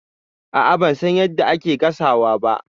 A'a, ban san yadda ake gasawa ba.